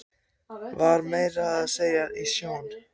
Var meira að segja í sjón